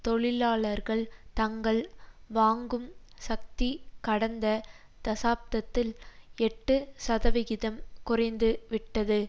தொழிலாளர்கள் தங்கள் வாங்கும் சக்தி கடந்த தசாப்தத்தில் எட்டு சதவிகிதம் குறைந்து விட்டது